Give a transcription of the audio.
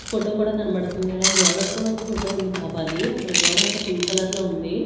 Photo కూడా కనబడుతుంది అలాగే గోడకి కూడా ఒక ఫోటో ఉంది బాబా అది అక్కడ గోడ అంతా పింక్ కలర్ లో ఉంది.